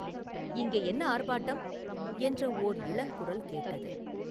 “இங்கே என்ன ஆர்ப்பாட்டம்?” என்ற ஒரு இளங்குரல் கேட்டது.